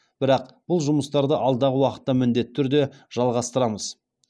бірақ бұл жұмыстарды алдағы уақытта міндетті түрде жалғастырамыз